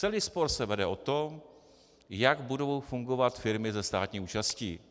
Celý spor se vede o to, jak budou fungovat firmy se státní účastí.